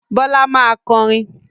Bọ́lá máa kọrin.